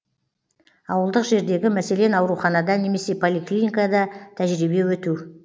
ауылдық жердегі мәселен ауруханада немесе поликлиникада тәжірибе өту